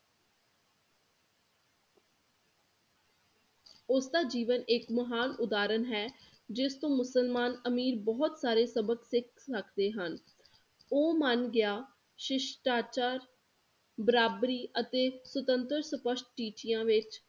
ਉਸ ਦਾ ਜੀਵਨ ਇੱਕ ਮਹਾਨ ਉਦਾਹਰਣ ਹੈ, ਜਿਸ ਤੋਂ ਮੁਸਲਮਾਨ ਅਮੀਰ ਬਹੁਤ ਸਾਰੇ ਸਬਕ ਸਿੱਖ ਸਕਦੇ ਹਨ, ਉਹ ਮੰਨ ਗਿਆ ਸ਼ਿਸ਼ਟਾਚਾਰ, ਬਰਾਬਰੀ ਅਤੇ ਸੁਤੰਤਰ ਸਪਸ਼ਟ ਟੀਚਿਆਂ ਵਿੱਚ